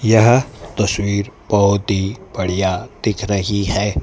यह तस्वीर बहोत ही बढ़िया दिख रही है।